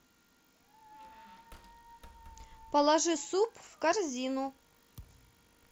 положи суп в корзину